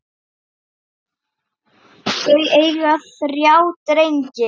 Þau eiga þrjá drengi.